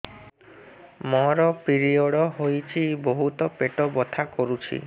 ମୋର ପିରିଅଡ଼ ହୋଇଛି ବହୁତ ପେଟ ବଥା କରୁଛି